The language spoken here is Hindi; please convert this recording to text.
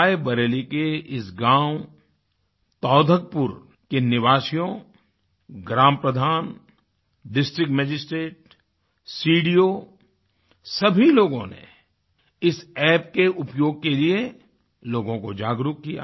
रायबरेली के इस गाँव तौधकपुर के निवासियों ग्रामप्रधान डिस्ट्रिक्ट मजिस्ट्रेट सीडीओ सभी लोगों ने इस App के उपयोग के लिए लोगों को जागरूक किया